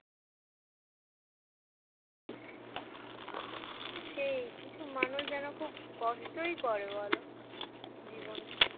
সেই কিছু মানুষ যেন খুব কষ্টই করে বল জীবনে